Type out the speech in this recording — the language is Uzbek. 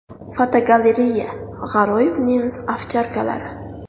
Fotogalereya: G‘aroyib nemis ovcharkalari.